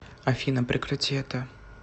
афина прекрати это